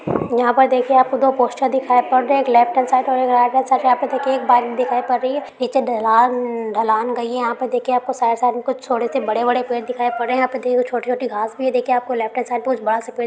यहाँ पर देखिए आपको दो पोस्टर दिखाई पड़ रहे हैं। एक लेफ्ट हैंड साइड और एक राइट हैंड साइड पे देखिए एक बाइक दिखाई पड़ रही है। नीचे ढलान ढलान गई है। आप देखिए आपको साइड -साइड में छोड़े से बड़े-बड़े पेड़ दिखाई पड़ रहे है। यहाँ पे देखिए छोटी-छोटी घांस भी है देखिए आपको लेफ्ट हैंड साइड कुछ बड़ा सा पेड़ --